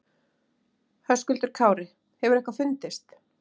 Höskuldur Kári: Hefur eitthvað fundist?